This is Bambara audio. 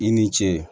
I ni ce